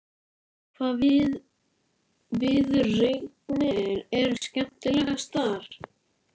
Hvaða viðureignir eru skemmtilegastar?